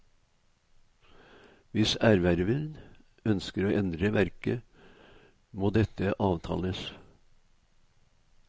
Hvis erververen ønsker å endre verket, må dette avtales.